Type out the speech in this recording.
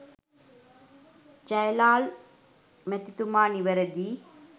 ජ්යලාල් මැතිතුමා නිවැරදියි